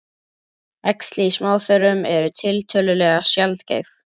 Æxli í smáþörmum eru tiltölulega sjaldgæf.